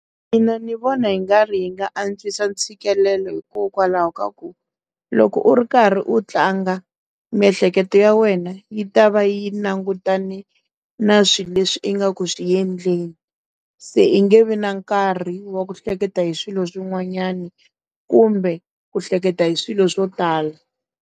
Mina ni vona hi nga ri yi nga antswisa ntshikelelo hikokwalaho ka ku loko u ri karhi u tlanga miehleketo ya wena yi ta va yi langutane na swilo leswi ingaku xiendleni se i nge vi na nkarhi wa ku hleketa hi swilo swin'wanyana kumbe ku hleketa hi swilo swo tala.